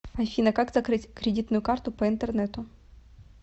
афина как закрыть кредитную карту по интернету